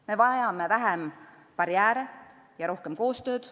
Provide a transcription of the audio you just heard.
Me vajame vähem barjääre ja rohkem koostööd.